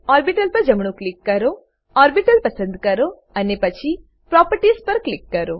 orbital પર જમણું click કરો ઓર્બિટલ પસંદ કરો અને પછી પ્રોપર્ટીઝ પર ક્લિક કરો